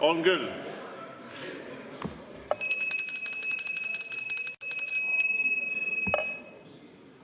On küll.